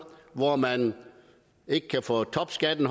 hvor man ikke kan få topskatten